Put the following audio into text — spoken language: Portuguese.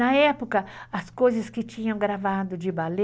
Na época, as coisas que tinham gravado de balé,